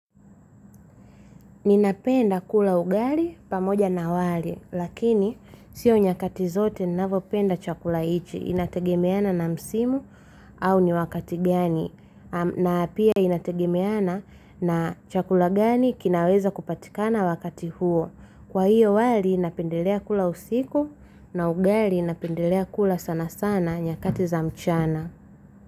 Ninapenda kula ugali pamoja na wali, lakini siyo nyakati zote ninavyopenda chakula hiki, inategemeana na msimu au ni wakati gani, na pia inategemeana na chakula gani kinaweza kupatikana wakati huo. Kwa hiyo wali napendelea kula usiku na ugali napendelea kula sana sana nyakati za mchana.